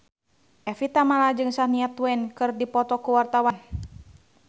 Evie Tamala jeung Shania Twain keur dipoto ku wartawan